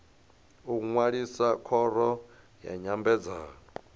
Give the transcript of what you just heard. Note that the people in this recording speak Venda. u ṅwalisa khoro ya nyambedzano